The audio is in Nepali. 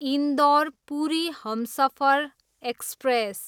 इन्दौर, पुरी हमसफर एक्सप्रेस